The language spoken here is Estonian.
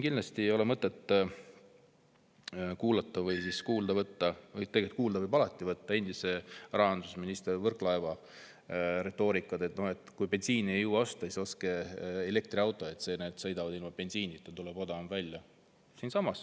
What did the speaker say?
Kindlasti ei ole mõtet kuulata või kuulda võtta – tegelikult kuulda võib alati võtta – endise rahandusministri Võrklaeva retoorikat, et no kui bensiini ei jõua osta, siis ostke elektriauto, see sõidab ilma bensiinita, nii et tuleb odavam välja.